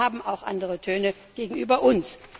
Sie selber haben auch andere Töne gegenüber uns.